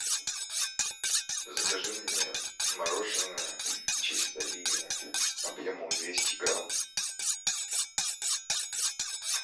закажи мне мороженое чистая линия объемом двести грамм